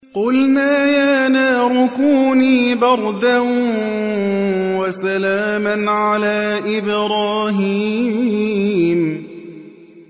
قُلْنَا يَا نَارُ كُونِي بَرْدًا وَسَلَامًا عَلَىٰ إِبْرَاهِيمَ